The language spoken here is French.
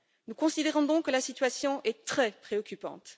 Nous considérons donc que la situation est très préoccupante.